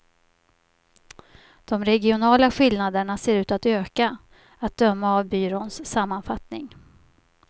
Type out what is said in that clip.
De regionala skillnaderna ser ut att öka, att döma av byråns sammanfattning.